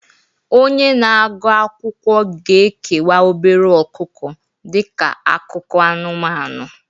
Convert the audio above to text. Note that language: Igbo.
Onye na-agụ akwụkwọ ga-ekewa obere ọkụkọ dị ka akụkọ anụmanụ